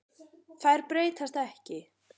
Þær breytast ekki.